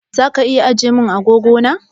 Zaka iya ajiye min agogo na?